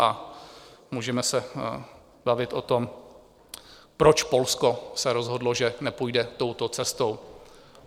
A můžeme se bavit o tom, proč se Polsko rozhodlo, že nepůjde touto cestou.